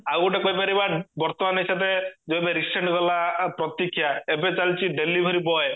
ଆଉ ଗୋଟେ କହିପାରିବା ବର୍ତମାନ ଏଇ ସାଥେ ଯୋଉ ଏବେ recent ଗଲା ପ୍ରତିକ୍ଷ୍ୟା ଏବେ ଚାଲିଚି delivery boy